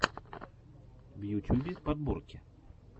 в ютюбе подборки